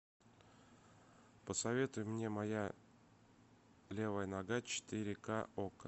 посоветуй мне моя левая нога четыре ка окко